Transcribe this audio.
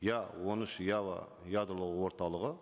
иә он үш ұялы ядро орталығы